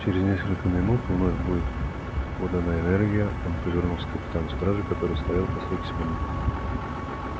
через несколько минут вновь будет подана энергия он повернулся к капитану стражи который стоял по стойке смирно